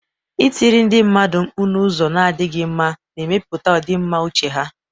Ịtiri ndị mmadụ mkpu n'ụzọ na-adịghị mma na-emetụta ọdịmma uche ha.